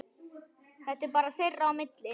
Þetta var bara þeirra á milli.